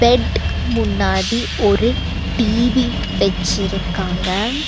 Bed முன்னாடி ஒரு TV வெச்சிருக்காங்க.